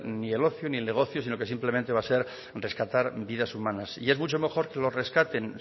ni el ocio ni el negocio sino que simplemente va a ser rescatar vidas humanas y es mucho mejor que los rescaten